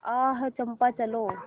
आह चंपा चलो